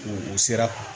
U u sera